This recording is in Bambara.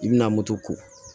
I bɛna moto ko